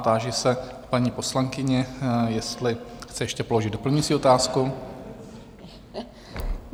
Táži se paní poslankyně, jestli chce ještě položit doplňující otázku?